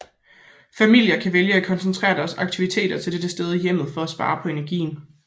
Familier kan vælge at koncentrere deres aktiviteter til dette sted i hjemmet for at spare på energien